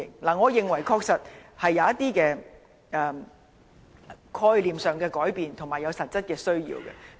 我認為香港人確實有一些概念上的改變，而且有實質的需要買車代步。